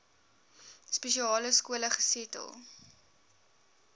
spesiale skole gesetel